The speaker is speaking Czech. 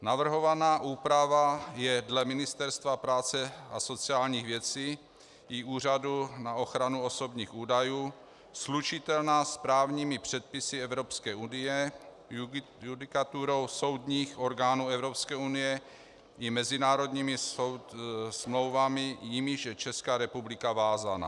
Navrhovaná úprava je dle Ministerstva práce a sociálních věcí i Úřadu na ochranu osobních údajů slučitelná s právními předpisy Evropské unie, judikaturou soudních orgánů Evropské unie i mezinárodními smlouvami, jimiž je Česká republika vázána.